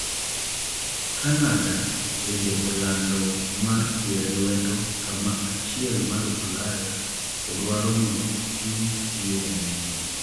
Canada bende olando mar sire lwedo sama achiel mar ulaya to dwaro mondo otim yiero manyien